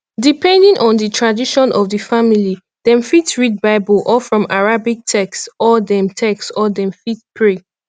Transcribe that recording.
depending on di tradition of di family dem fit read bible or from arabic text or dem text or dem fit pray